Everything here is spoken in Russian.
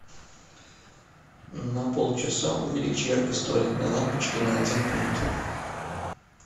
на полчаса увеличь яркость туалетной лампочки на один пункт